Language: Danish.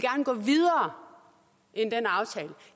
gå videre end den aftale